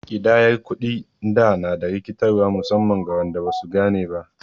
Ƙidayar kuɗin da na da rikitarwa musamman ga waɗanda ba su gane ba.